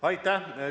Aitäh!